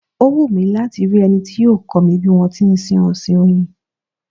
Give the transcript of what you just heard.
Ó wù mí láti rí ẹni tí yóò kọ́ mi bí wọn ti ń ṣe ọ̀sìn Oyin.